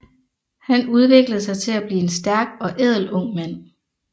Han udviklede sig til at blive en stærk og ædel ung mand